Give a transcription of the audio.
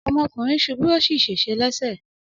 Ọmọkùnrin ṣubú ó sì ṣèṣe lẹ́sẹ̀.